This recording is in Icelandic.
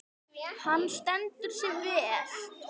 Hann stendur sig vel.